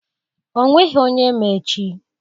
ọ nweghị onye ma echi